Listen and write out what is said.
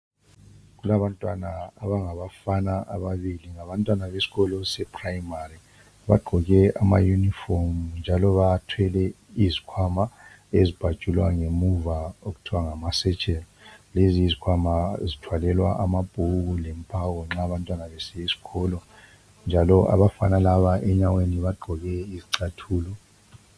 Kulabantwana abangababafana ababili ngabantwana besikolo se primary, bagqoke ama uniform, njalo bathwele izikhwama ezibhajulwa ngemuva okuthwa ngama satchel lezi yizikhwama ezithwalelwa amabhuku lemphako nxa abantwana besiya esikolo, njalo abafana laba enyaweni bagqoke izicathulo .